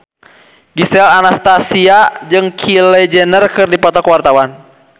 Gisel Anastasia jeung Kylie Jenner keur dipoto ku wartawan